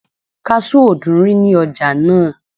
kasú ò dúnrí ní ọjà náà